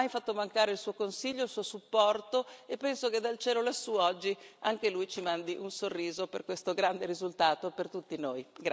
Lui non ha mai fatto mancare il suo consiglio e il suo supporto, e penso che dal cielo lassù, oggi, anche lui ci mandi un sorriso per questo grande risultato per tutti noi.